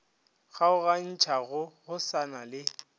kgaogantšhago go sa na le